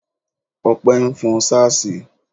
Opé nfon sáàsì